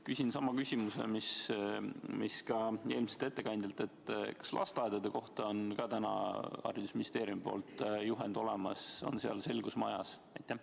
Küsin sama küsimuse, mida küsisin ka eelmiselt ettekandjalt: kas ka lasteaedade kohta on täna haridusministeeriumil juhend olemas, on seal selgus majas?